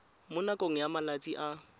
mo nakong ya malatsi a